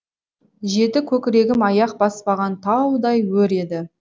жеті көкірегім аяқ баспаған таудай өр еді